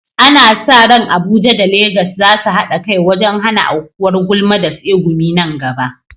Ana sa ran Abuja da Legas za su haɗa kai wajen hana aukuwar gulma da tsegumi nan gaba.